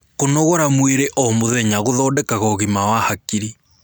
kũnogora mwĩrĩ o mũthenya guthondekaga ũgima wa hakiri